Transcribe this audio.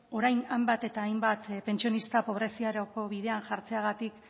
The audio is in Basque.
orain hainbat eta hainbat pentsionista pobreziarako bidean jartzeagatik